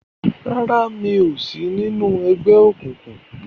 ràrá mi'o sí nínu ègbé òkùnkùn.